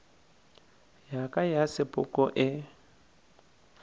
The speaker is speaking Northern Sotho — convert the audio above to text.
ya ka ya sepoko e